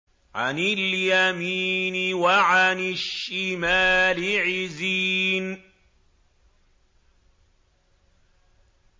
عَنِ الْيَمِينِ وَعَنِ الشِّمَالِ عِزِينَ